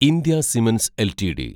India Cements LTD